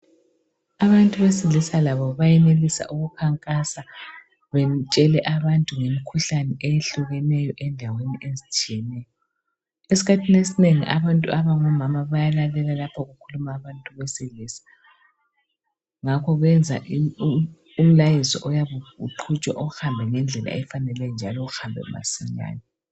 Abantu besilisa labo bayenelisa ukukhankasa betshele abantu ngemikhuhlane eyehlukeneyo endaweni ezitshiyeneyo. Esikhathini esinengi abantu abangomama bayalalela lapho okukhuluma abantu besilisa ngakho benza umlayezo oyabe uqhutshwa uhambe ngendlela efaneleyo njalo uhambe masinyane.